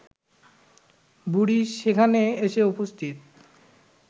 বুড়ি সেখানে এসে উপস্থিত